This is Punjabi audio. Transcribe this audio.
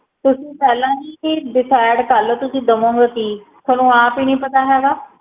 ਤੁਸੀ ਪਹਿਲਾ ਹੀ decide ਕਰਲੋ ਤੁਸੀ ਦਵੋ ਗੇ ਕੀ ਤੁਹਾਨੂੰ ਅੱਪ ਹੀ ਨੀ ਪਤਾ ਹੇਗਾ